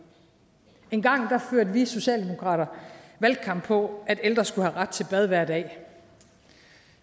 engang førte vi socialdemokrater valgkamp på at ældre skulle have ret til bad hver dag